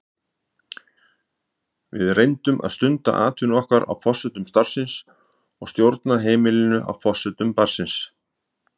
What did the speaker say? Við reyndum að stunda atvinnu okkar á forsendum starfsins og stjórna heimilinu á forsendum barnsins.